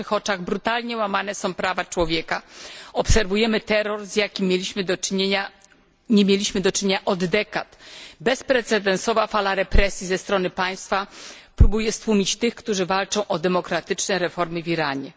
Na naszych oczach brutalnie łamane są prawa człowieka, obserwujemy terror, z jakim nie mieliśmy do czynienia od dekad. Bezprecedensowa fala represji ze strony państwa próbuje stłumić tych, którzy walczą o demokratyczne reformy w Iranie.